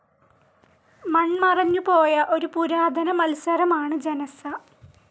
മണ്മറഞ്ഞു പോയ ഒരു പുരാതന മത്സരം ആണ് ജനസ്സ.